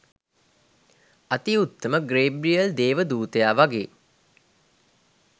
අති උත්තම ගේබ්‍රියෙල් දේව දූතයා වගේ